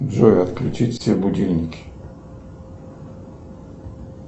джой отключить все будильники